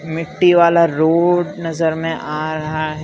मिट्टी वाला रोड नजर में आ रहा है।